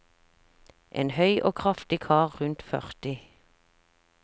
En høy og kraftig kar rundt førti.